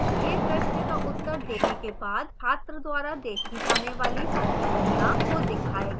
यह प्रश्न का उत्तर देने के बाद छात्र द्वारा देखी जाने वाली प्रतिक्रिया को दिखाएगा